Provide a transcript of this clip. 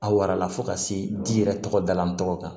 A warala fo ka se di yɛrɛ tɔgɔ dala tɔgɔ kan